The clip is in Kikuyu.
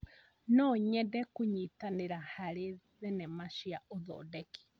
No nyende kũnyitanĩra harĩ thenema cia ũthondeki.